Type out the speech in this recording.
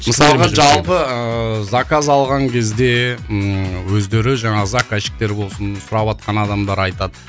мысалға жалпы ыыы заказ алған кезде ммм өздері жаңағы заказчиктер болсын сұраватқан адамдар айтады